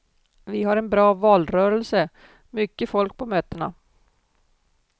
Vi har en bra valrörelse, mycket folk på mötena.